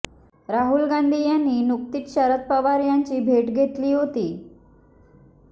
राहूल गांधी यांनी नुकतीच शरद पवार यांची भेट घेतली होती